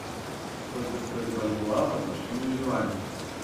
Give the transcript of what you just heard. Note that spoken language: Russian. сколько стоит бальбоа в отношении юаня